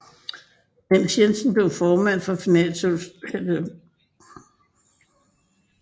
Men Jensen blev formand for finansudvalget